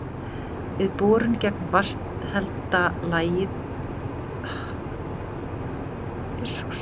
Við borun gegnum vatnshelda lagið í miðju dældarinnar gýs grunnvatnið upp vegna þrýstings.